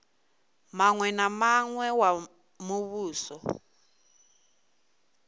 muṅwe na muṅwe wa muvhuso